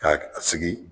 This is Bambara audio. Ka sigi